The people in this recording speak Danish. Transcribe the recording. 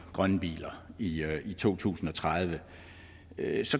grønne biler i to tusind og tredive